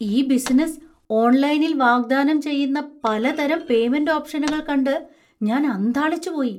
ഈ ബിസിനസ്സ് ഓൺലൈനിൽ വാഗ്ദാനം ചെയ്യുന്ന പലതരം പേയ്മെന്‍റ് ഓപ്ഷനുകൾ കണ്ട് ഞാൻ അന്ധാളിച്ചു പോയി.